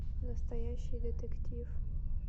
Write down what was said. настоящий детектив